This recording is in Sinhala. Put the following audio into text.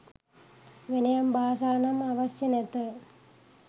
වෙනයම් භාෂා නම් අවශ්‍ය නැත